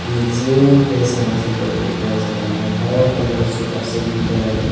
kusongke ke sana se koroi ka o jaga naitotok kelaioe superset bo berajak.